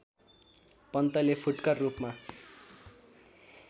पन्तले फुटकर रूपमा